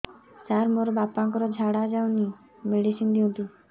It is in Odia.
ସାର ମୋର ବାପା ର ଝାଡା ଯାଉନି ମେଡିସିନ ଦିଅନ୍ତୁ